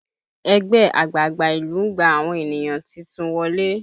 Ẹgbẹ́ àgbààgbà ìlú ń gba àwọn ènìyàn titun wọlé